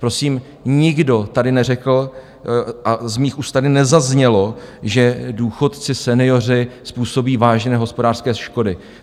Prosím, nikdo tady neřekl a z mých úst tady nezaznělo, že důchodci, senioři, způsobí vážné hospodářské škody.